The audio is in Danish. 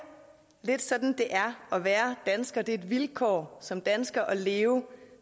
lidt sådan det er at være dansker det er et vilkår som dansker at leve